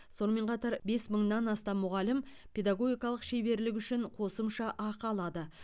сонымен қатар бес мыңнан астам мұғалім педагогикалық шеберлігі үшін қосымша ақы алады